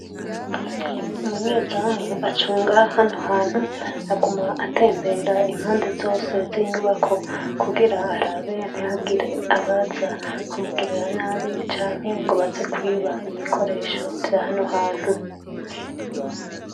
Umunyezamu acunga hano hantu aguma atembera impande zose ziyi nyubako kugira arabe ntihagire abaza kumugirira nabi canke ngo baze kwiba ibikoresho vyahano hantu.